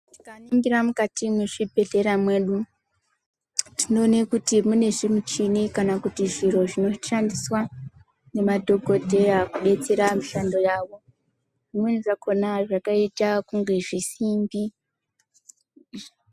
Tikaningira mukati mwezvibhedhlera zvedu tinoone kuti mune zvimuchini kana kuti zviro vinoshandiswa nemadhokodheya kudetsera mushando dzawo zvimweni zvakona zvakaita kunge zvisimbi.